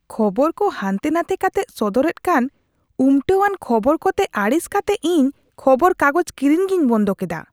ᱠᱷᱚᱵᱚᱨ ᱠᱚ ᱦᱟᱱᱛᱮᱼᱱᱟᱛᱮ ᱠᱟᱛᱮᱜ ᱥᱚᱫᱚᱨᱮᱫ ᱠᱟᱱ ᱩᱢᱴᱟᱹᱣᱟᱱ ᱠᱷᱚᱵᱚᱨ ᱠᱚᱛᱮ ᱟᱹᱲᱤᱥ ᱠᱟᱛᱮᱜ ᱤᱧ ᱠᱷᱚᱵᱚᱨ ᱠᱟᱜᱚᱡᱽ ᱠᱤᱨᱤᱧ ᱜᱮᱧ ᱵᱚᱱᱫᱚ ᱠᱮᱫᱟ ᱾